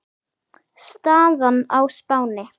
Staðan á Spáni